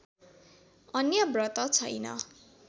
अन्य व्रत छैन